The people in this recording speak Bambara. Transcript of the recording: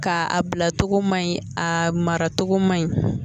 Ka a bila togo ma ɲi a mara cogo ma ɲi